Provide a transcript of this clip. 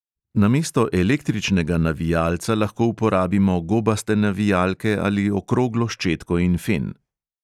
Namesto električnega navijalca lahko uporabimo gobaste navijalke ali okroglo ščetko in fen.